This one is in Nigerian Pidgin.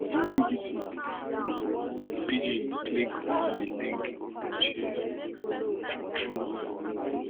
wen bbc pidgin click on di link dem share true true e